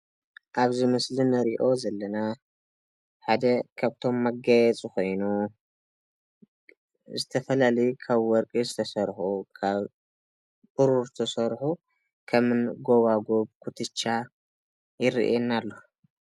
ኣብዚ ምስሊ እንሪኦ ዘለና ሓደ ካብቶም መጋየፂ ኮይኑ ብዝተፈላለዩ ካብ ወርቂ ዝተሰርሑ ካብ ብሩር ዝተሰርሑ ከምኒ ጎባጉብ፣ ኩትቻ ይርኣየኒ ኣሎ።